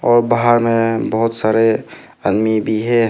और बाहर में बहुत सारे आदमी भी है।